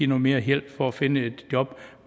noget mere hjælp for at finde et job